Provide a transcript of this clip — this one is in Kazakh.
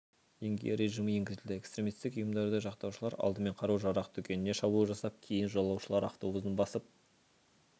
деңгейі режимі енгізілді экстремистік ұйымдарды жақтаушылар алдымен қару-жарақ дүкеніне шабуыл жасап кейін жолаушылар автобусын басып